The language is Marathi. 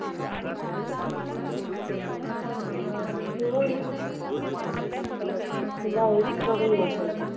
हो ना हे बघ, तुला हेच करून मजा येते.